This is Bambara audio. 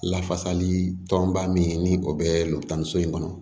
Lafasali tɔnba min ni o bɛ lu tan ni so in kɔnɔ